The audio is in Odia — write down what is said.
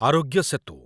ଆରୋଗ୍ୟ ସେତୁ